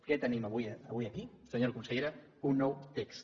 què tenim avui aquí senyora consellera un nou text